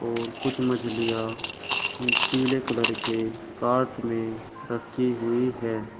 और कुछ मछलियां पीले कलर के कार्ट में रखी हुई है।